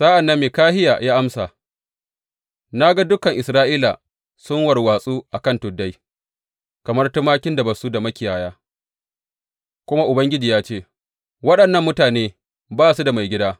Sa’an nan Mikahiya ya amsa, Na ga dukan Isra’ila sun warwatsu a kan tuddai kamar tumakin da ba su da makiyaya, kuma Ubangiji ya ce, Waɗannan mutane ba su da maigida.